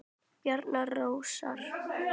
Bjarni Rósar Nei.